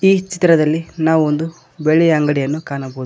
ಈ ಚಿತ್ರದಲ್ಲಿ ನಾವು ಒಂದು ಬೆಳ್ಳಿಯ ಅಂಗಡಿಯನ್ನು ಕಾಣಬೋದು.